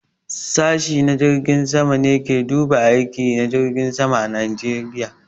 Sashi na jirgin sama ne ke duba aiki na jirgin sama a Najeriya.